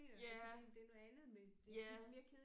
Ja ja